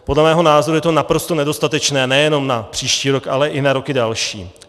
Podle mého názoru je to naprosto nedostatečné nejenom na příští rok, ale i na roky další.